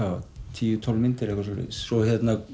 tíu tólf myndir eitthvað svoleiðis svo